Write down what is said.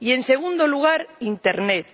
Y, en segundo lugar, internet.